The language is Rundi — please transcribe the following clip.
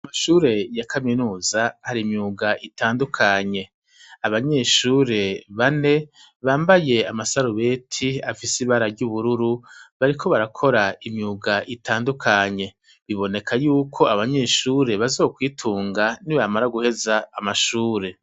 Ishure ya Kaminuza hari imyuga itandunye. Abanyeshure bane bambaye amasarubeti afise ibara ry'ubururu, bariko barakora imyuga itandukanye. Biboneka yuko abanyeshure bazokwitunga nibamara guheza amashure.